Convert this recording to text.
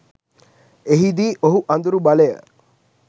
එහිදී ඔහු අඳුරු බලය